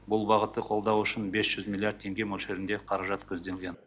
бұл бағытты қолдау үшін бес жүз миллиард теңге мөлшерінде қаражат көзделген